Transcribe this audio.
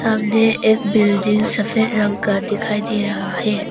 सामने एक बिल्डिंग सफेद रंग का दिखाई दे रहा है।